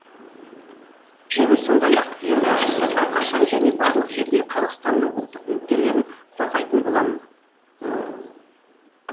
және сондай ақ ең бастысы әрқашан және барлық жерде қазақстанның ұлттық мүдделерін қорғайтын боламын